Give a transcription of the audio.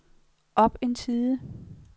op en side